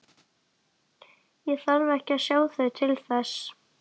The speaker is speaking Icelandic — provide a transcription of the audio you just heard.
Ég þarf ekki að sjá þau til þess.